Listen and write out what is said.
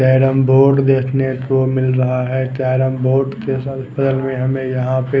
carrom board देखने को मिल रहा है कॅरम बोर्ड के बगल में हमे यहाँ पे--